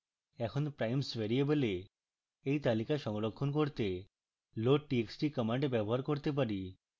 এখন primes ভ্যারিয়েবলে এই তালিকা সংরক্ষণ করতে loadtxt command ব্যবহার করতে পারি